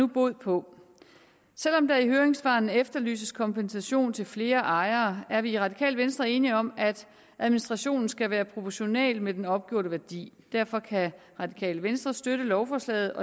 bod på selv om der i høringssvarene efterlyses kompensation til flere ejere er vi i radikale venstre enige om at administrationen skal være proportional med den opgjorte værdi derfor kan radikale venstre støtte lovforslaget